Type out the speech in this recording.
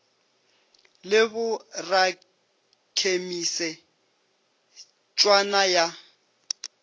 le bo rakhemise tšhwana ya